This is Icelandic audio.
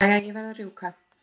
Jæja, ég verð að rjúka.